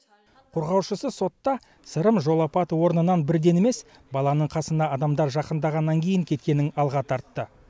қорғаушысы сотта сырым жол апаты орнынан бірден емес баланың қасына адамдар жақындағаннан кейін кеткенін алға тартты